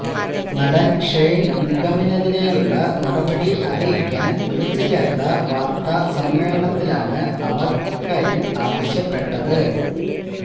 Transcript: നടന് ഷെയ്ന് നിഗമിനെതിരേയുള്ള നടപടി അറിയിക്കാന് വിളിച്ചുചേര്ത്ത വാര്ത്താസമ്മേളനത്തിലാണ് അവര് ഇക്കാര്യം ആവശ്യപ്പെട്ടത്